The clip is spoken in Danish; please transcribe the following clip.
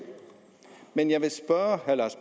men jeg vil spørge herre lars